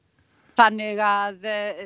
þannig að